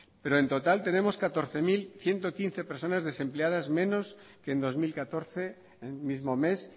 pero en total tenemos catorce mil ciento quince personas desempleadas menos que en dos mil catorce el mismo mes